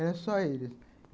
Era só eles.